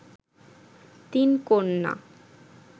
তিন কন্যা